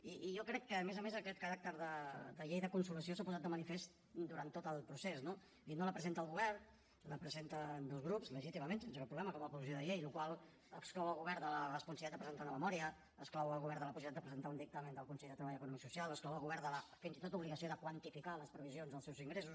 i jo crec que a més a més aquest caràcter de llei de consolació s’ha posat de manifest durant tot el procés no i no la presenta el govern la presenten dos grups legítimament sense cap problema com a proposició de llei la qual cosa exclou el govern de la responsabilitat de presentar una memòria exclou el govern de la possibilitat de presentar un dictamen del consell de treball econòmic i social exclou el govern fins i tot de l’obligació de quantificar les previsions dels seus ingressos